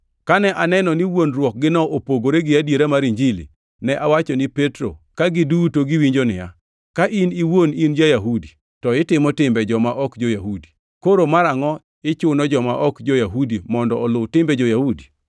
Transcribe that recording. Kane aneno ni wuondruokgino opogore gi adiera mar Injili, ne awacho ne Petro ka giduto giwinjo niya, “Ka in iwuon in ja-Yahudi, to itimo timbe joma ok jo-Yahudi, koro marangʼo ichuno joma ok jo-Yahudi mondo oluw timbe jo-Yahudi?